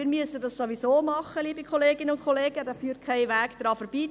Wir müssen es sowieso tun, liebe Kolleginnen und Kollegen, daran führt kein Weg vorbei.